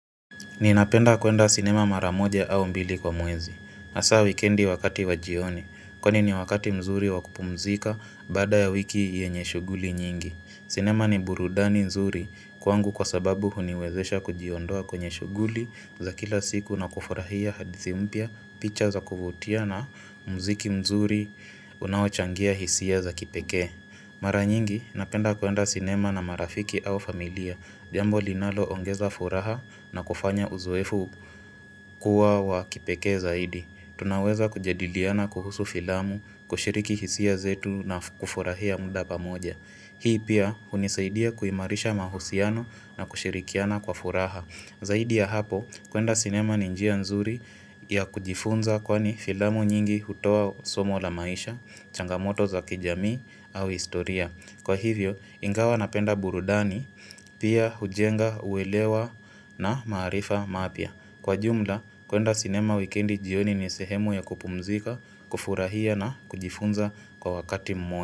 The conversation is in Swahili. Ninapenda kuenda sinema mara moja au mbili kwa mwezi, hasa wikendi wakati wa jioni, kwenye ni wakati mzuri wakupumzika baada ya wiki yenye shughuli nyingi. Sinema ni burudani mzuri kwangu kwa sababu huniwezesha kujiondoa kwenye shughuli za kila siku na kufurahia hadithi mpya, picha za kuvutia na mziki mzuri unaochangia hisia za kipekee. Mara nyingi napenda kuenda sinema na marafiki au familia, jambo linaloongeza furaha na kufanya uzoefu kuwa wa kipekee zaidi. Tunaweza kujadiliana kuhusu filamu, kushiriki hisia zetu na kufurahia muda pamoja. Hii pia hunisaidia kuimarisha mahusiano na kushirikiana kwa furaha. Zaidi ya hapo, kuenda sinema ni njia nzuri ya kujifunza kwani filamu nyingi hutoa somo la maisha, changamoto za kijamii au historia. Kwa hivyo, ingawa napenda burudani, pia hujenga uwelewa na maarifa mapya. Kwa jumla, kuenda sinema weekendi jioni ni sehemu ya kupumzika, kufurahia na kujifunza kwa wakati mmoja.